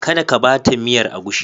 Kada ka ba ta miyar agushi.